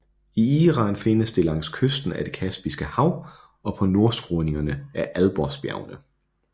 I Iran findes det langs kysten af det Kaspiske hav og på nordskråningerne af Alborzbjergene